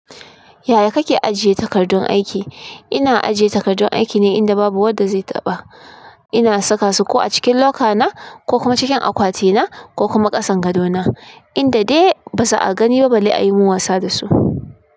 Yaya kake ajiye takardun aiki? Ina ajiye takardun aiki ne inda babu wanda zai taɓa. Ina saka su ko a cikin locker na, ko kuma cikin akwati na ko kuma kasan gado na. In da dai ba za'a gani ba balle ayi min wasa dasu.